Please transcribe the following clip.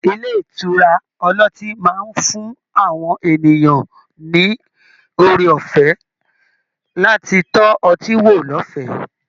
Ilé ìtura ọlọ́tí máa ń fún àwọn ènìyàn ní oore ọ̀fẹ́ láti tọ́ ọtí wò lọ́fẹ̀ẹ́